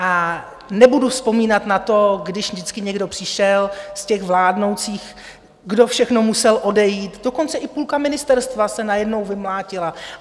A nebudu vzpomínat na to, když vždycky někdo přišel z těch vládnoucích, kdo všechno musel odejít - dokonce i půlka ministerstva se najednou vymlátila.